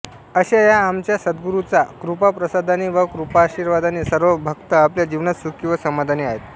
अशा या आमच्या सद्गुरूचा कृपाप्रसादाने व कृपाशीर्वादाने सर्व भक्त आपल्या जीवनात सुखी व समाधानी आहेत